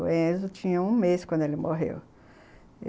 O Enzo tinha um mês quando ele morreu.